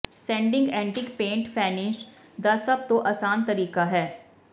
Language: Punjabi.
ਸੈਂਡਿੰਗ ਐਂਟੀਕ ਪੇਂਟ ਫੈਨਿਸ਼ ਦਾ ਸਭ ਤੋਂ ਆਸਾਨ ਤਰੀਕਾ ਹੈ